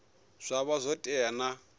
zwa vha zwo tea na